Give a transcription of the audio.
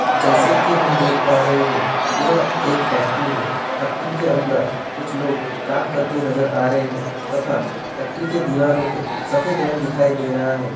जैसे की हम देख पा रहे हैं यह एक फैक्ट्री है फैक्ट्री के अंदर कुछ लोग काम करते हुए नजर आ रहे हैं तथा फैक्ट्री के दीवारों पे सफेद रंग दिखाई दे रहा है।